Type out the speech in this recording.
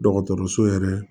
Dɔgɔtɔrɔso yɛrɛ